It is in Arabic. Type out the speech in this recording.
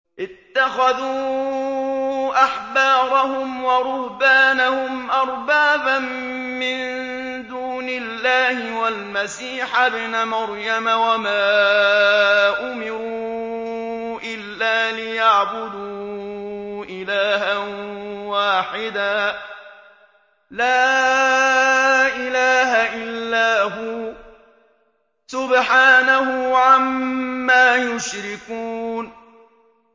اتَّخَذُوا أَحْبَارَهُمْ وَرُهْبَانَهُمْ أَرْبَابًا مِّن دُونِ اللَّهِ وَالْمَسِيحَ ابْنَ مَرْيَمَ وَمَا أُمِرُوا إِلَّا لِيَعْبُدُوا إِلَٰهًا وَاحِدًا ۖ لَّا إِلَٰهَ إِلَّا هُوَ ۚ سُبْحَانَهُ عَمَّا يُشْرِكُونَ